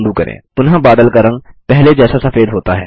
पुनः बादल का रंग पहले जैसा सफेद होता है